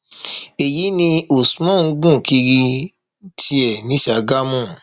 èyí ni usman ń gùn kiri ní tiẹ ní ṣàgámù